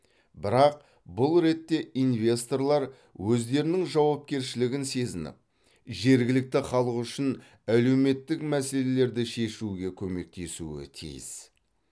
бірақ бұл ретте инвесторлар өздерінің жауапкершілігін сезініп жергілікті халық үшін әлеуметтік мәселелерді шешуге көмектесуі тиіс